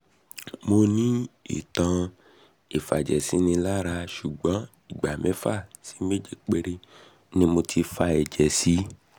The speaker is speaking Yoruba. mo ní ìtàn ìfàjẹ̀sínilára ṣùgbọ́n ìgbà mẹ́fà sí méje péré ni mo ti fa ẹ̀jẹ̀ sí